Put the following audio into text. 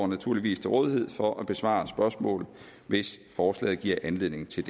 naturligvis til rådighed for at besvare spørgsmål hvis forslaget giver anledning til